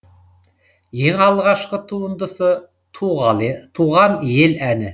ең алғашқы туындысы туған ел әні